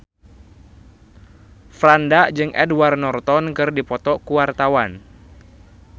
Franda jeung Edward Norton keur dipoto ku wartawan